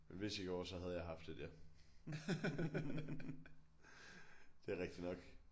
Hvis jeg gjorde så havde jeg haft et ja det er rigtigt nok